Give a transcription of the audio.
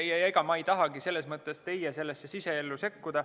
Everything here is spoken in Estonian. Ja ega ma ei tahagi teie siseellu sekkuda.